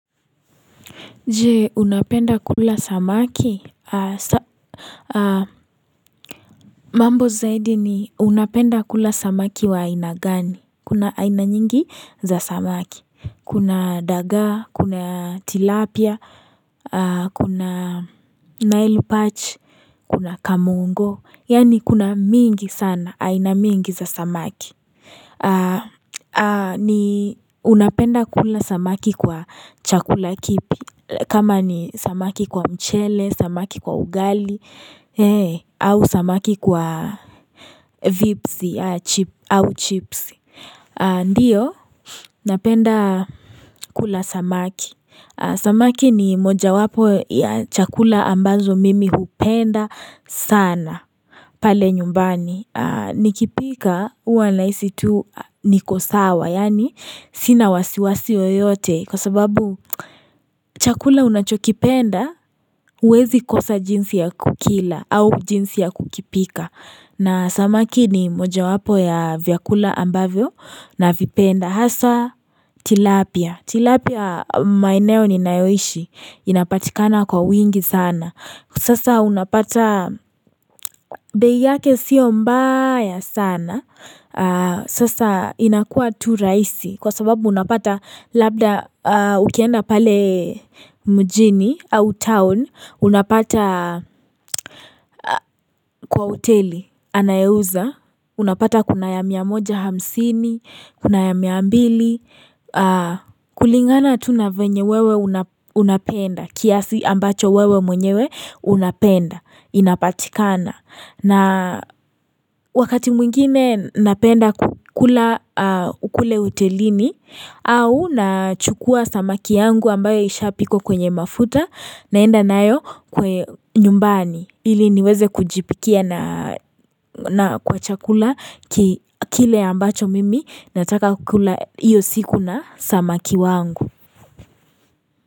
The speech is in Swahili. Je unapenda kula samaki, aah sa mambo zaidi ni unapenda kula samaki wa aina gani kuna aina nyingi za samaki Kuna dagaa kuna tilapia kuna nail patch Kuna kamungo yani kuna mingi sana aina mingi za samaki aah ni unapenda kula samaki kwa chakula kipi like kama ni samaki kwa mchele, samaki kwa ugali eeh a au samaki kwa vipsi, ya chip au chips Ndiyo, napenda kula samaki sa Samaki ni moja wapo ya chakula ambazo mimi hupenda sana pale nyumbani nikipika huwa nahisi tu nikosawa yani sina wasiwasi yoyote kwa sababu chakula unachokipenda huwezi kosa jinsi ya kukila au jinsi ya kukipika na samaki ni moja wapo ya vyakula ambavyo navipenda hasa tilapia. Tilapia maeneo ninayoishi Inapatikana kwa wingi sana Sasa unapata bei yake sio mbaya sana Sasa inakua tu rahisi Kwa sababu unapata Labda ukienda pale mjini au town Unapata kwa hoteli anaye uza Unapata kuna ya miamoja hamsini Kuna ya miambili kulingana tu na venye wewe unapenda kiasi ambacho wewe mwenyewe unapenda inapatikana na wakati mwingine napenda kula kule hotelini au na chukua samaki yangu ambayo ishapikwa kwenye mafuta naenda nayo kwe nyumbani ili niweze kujipikia na na kwa chakula kile ambacho mimi nataka kula iyo siku na samaki wangu.